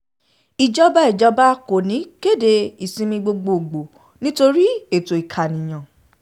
ìjọba ìjọba kò ní í kéde ìsinmi gbogbogbòó nítorí ètò ìkànìyàn